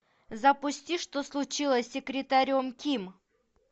запусти что случилось с секретарем ким